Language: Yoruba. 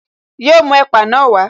Yọ mú ẹ̀pà na wá